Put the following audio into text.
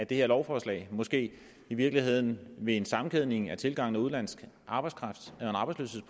det her lovforslag måske i virkeligheden ved en sammenkædning af tilgangen af udenlandsk arbejdskraft